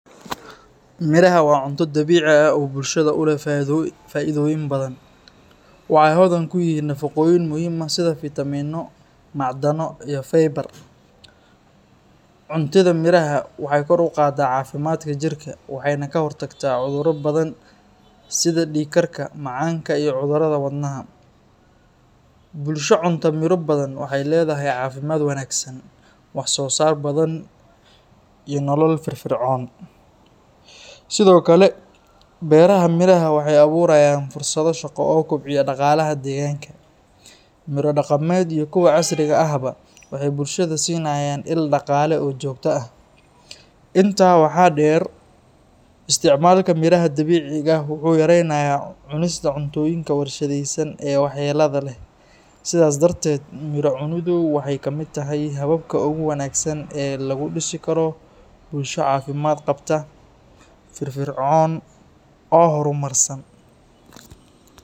Miraha waa cunto dabiici ah oo bulshada u leh faa’iidooyin badan. Waxay hodan ku yihiin nafaqooyin muhiim ah sida fiitamiinno, macdano, iyo faybar. Cuntida miraha waxay kor u qaadaa caafimaadka jirka, waxayna ka hortagtaa cudurro badan sida dhiig karka, macaanka, iyo cudurrada wadnaha. Bulsho cunta miro badan waxay leedahay caafimaad wanaagsan, wax soo saar badan, iyo nolol firfircoon. Sidoo kale, beeraha miraha waxay abuurayaan fursado shaqo oo kobciya dhaqaalaha deegaanka. Miro dhaqameed iyo kuwa casriga ahba waxay bulshada siinayaan il dhaqaale oo joogto ah. Intaa waxaa dheer, isticmaalka miraha dabiiciga ah wuxuu yaraynayaa cunista cuntooyinka warshadaysan ee waxyeellada leh. Sidaas darteed, miro cuniddu waxay ka mid tahay hababka ugu wanaagsan ee lagu dhisi karo bulsho caafimaad qabta, firfircoon, oo horumarsan.